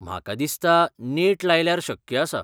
म्हाका दिसता नेट लायल्यार शक्य आसा.